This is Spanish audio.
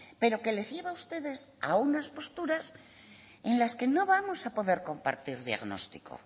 pero que les lleva a ustedes a unas posturas en las que no vamos a poder compartir diagnóstico